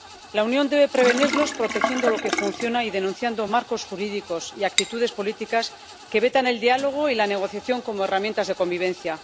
La Unión debe prevenirlos protegiendo lo que funciona y denunciando marcos jurídicos y actitudes políticas que vetan el diálogo y la negociación como herramientas de convivencia.